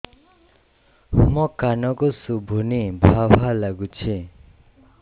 ମୋ କାନକୁ ଶୁଭୁନି ଭା ଭା ଲାଗୁଚି